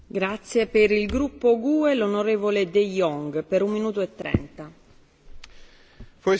Voorzitter, afgelopen zaterdag nam ik in Amsterdam deel aan een debat met Hongaarse journalisten en politici.